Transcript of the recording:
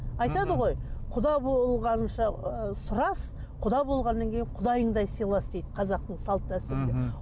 айтады ғой құда болғанша ы сұрас құда болғаннан кейін құдайыңдай сыйлас дейді қазақтың салт дәстүрінде мхм